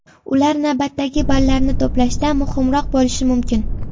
Ular navbatdagi ballarni to‘plashda muhimroq bo‘lishi mumkin.